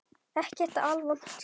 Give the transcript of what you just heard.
Ekki alvont kerfi.